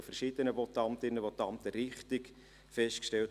Dies wurde von verschiedenen Votantinnen und Votanten richtig festgestellt.